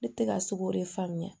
Ne tɛ ka sogo de faamuya